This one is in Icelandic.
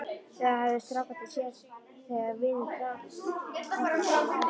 Það höfðu strákarnir séð þegar vinir Tolla komu í heimsókn.